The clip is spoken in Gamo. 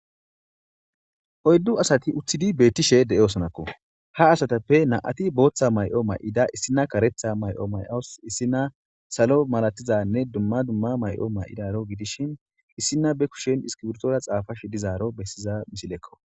hoyddu asati uththidi beettishe de7eosonakko ha asatappe na7ati booththa may7o may7ida issina karetha may7o may7os issina salo malatizanne dumma dumma may7o may7idaro gidishin issina be kushen iskiwurtora xaafa shi dizaaro bessiza mishilekko